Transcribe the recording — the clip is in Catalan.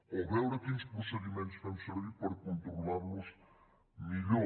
o veure quins procediments fem servir per controlar los millor